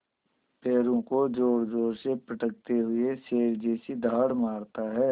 पैरों को ज़ोरज़ोर से पटकते हुए शेर जैसी दहाड़ मारता है